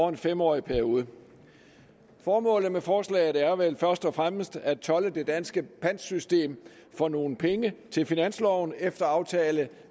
en fem årig periode formålet med forslaget er vel først og fremmest at tolde det danske pantsystem for nogle penge til finansloven efter aftale